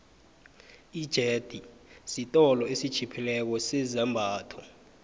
ijethi siolo esitjhiphileko sezambatho